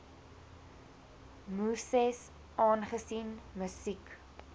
muses aangesien musiek